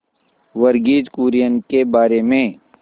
वर्गीज कुरियन के बारे में